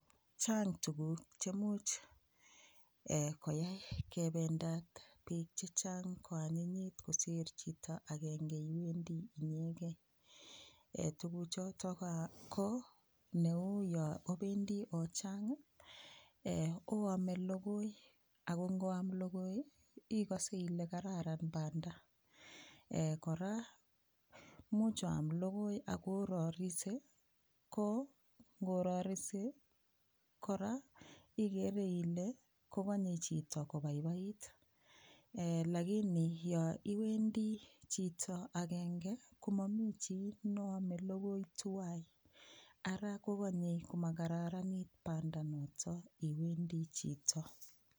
Chang tukuk chemuch koyai kebendat piik chechang koanyinyit kosir chito agenge agenge tukuchoto ko neu yo obendi ochang oome logoi ako ngoam logoi ikose ile kararan banda kora muuch oam logoi akororise ko ngororise kora ikere ile kokonyei chito kopaipait lakini yo iwendi chito agenge komamoi chi noome logoi tuwai ara kokonyei komakataranit bada noto iwendi chito